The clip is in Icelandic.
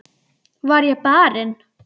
Var ég barinn?